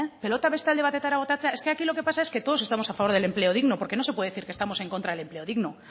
pilota beste alde batetara botaztea es que lo que aquí pasa es que todos estamos a favor del empleo digno porque no se puede decir que estamos en contra del empleo digno